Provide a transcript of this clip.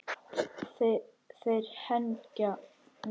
Þeir hengja mig?